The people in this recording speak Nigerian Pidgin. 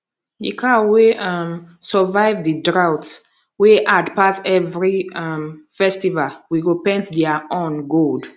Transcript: the cow wey um survive the drought wey hard pass every um festival we go paint their horn gold